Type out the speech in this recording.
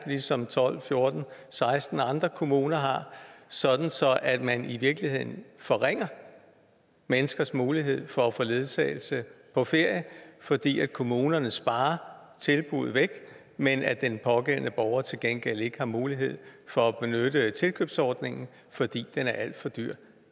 ligesom tolv fjorten seksten andre kommuner har sådan at man i virkeligheden forringer menneskers mulighed for at få ledsagelse på ferie fordi kommunerne sparer tilbuddet væk men at den pågældende borger til gengæld ikke har mulighed for at benytte tilkøbsordningen fordi den er alt for dyr